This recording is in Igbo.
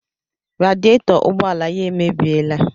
Radietọ ụgbọala ya emebiela